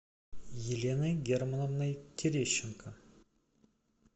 еленой германовной терещенко